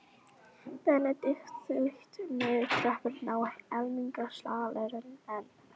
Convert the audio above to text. Benedikt þaut niður tröppurnar á almenningssalerninu en